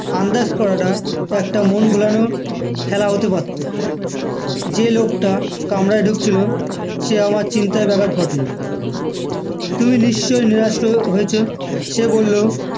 আন্দাজ করাটা একটা মন ভোলানো খেলা হতে পারতো যে লোকটা কামরায় ঢুকছিল সে আমার চিন্তায় ব্যাঘাত ঘটলো তুমি নিশ্চই নিরাশ হলেও হয়েছো সে বললো